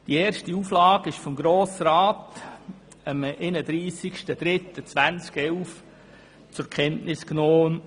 Die erste Auflage wurde vom Grossen Rat am 31. März 2011 zur Kenntnis genommen.